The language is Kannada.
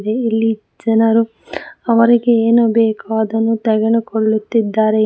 ಇಲ್ಲಿ ಜನರು ಅವರಿಗೆ ಏನು ಬೇಕೋ ಅದನ್ನು ತೆಗೆದುಕೊಳ್ಳುತ್ತಿದ್ದಾರೆ.